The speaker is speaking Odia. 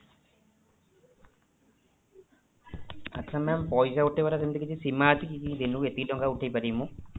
ଆଚ୍ଛା mam ପଇସା ଉଠେଇବାର ସେମିତି କିଛି ସୀମା ଅଛି କି ଦିନକୁ ଏତିକି ଟଙ୍କା ଉଠେଇପାରିବି ମୁଁ?